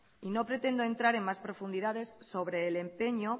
y no pretendo entrar en más profundidades sobre el empeño